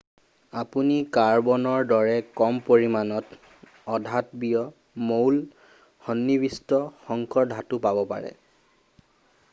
আপুনি কাৰ্বনৰ দৰে কম পৰিমানত অধাতৱীয় মৌল সন্নিৱিষ্ট সংকৰ ধাতু পাব পাৰে